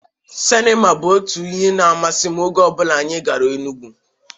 Sinima bụ otu ihe na-amasim oge ọbụla anyị gara Enugwu.